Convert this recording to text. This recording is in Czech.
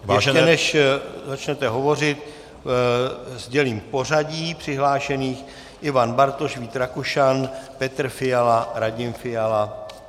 Ještě, než začnete hovořit, sdělím pořadí přihlášených - Ivan Bartoš, Vít Rakušan, Petr Fiala, Radim Fiala.